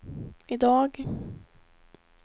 idag